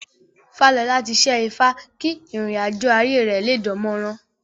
Fálọlá ti ṣẹ́ ifá kí ìrìn àjọ̀ ayé rẹ̀ lé dánmọ́rán